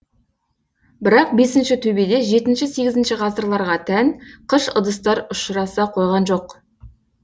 бірақ бесіншітөбеде жетінші сегізінші ғасырларға тән кыш ыдыстар ұшыраса койған жоқ